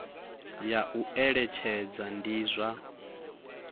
ya u eletshedza ndi zwa